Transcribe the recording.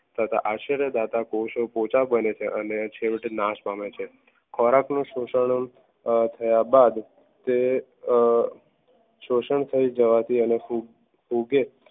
તથા આશ્ચર્ય દાદા કોસે પોચા બને છે અને છેવટે નાશ પામે છે ખોરાક નું શોષણ થયા બાદ તે અ શોષણ થઈ જવાથી અને ખૂબ ઉગે